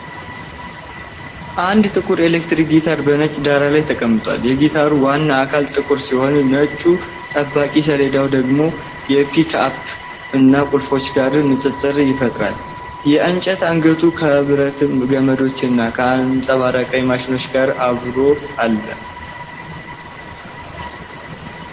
አንድ ጥቁር ኤሌክትሪክ ጊታር በነጭ ዳራ ላይ ተቀምጧል። የጊታሩ ዋና አካል ጥቁር ሲሆን፣ ነጩ ጠባቂ ሰሌዳው ደግሞ ከፒክአፕ እና ቁልፎች ጋር ንፅፅር ይፈጥራል። የእንጨት አንገቱ ከብረት ገመዶች እና ከአንጸባራቂ ማሽኖች ጋር አብሮ አለ፡፡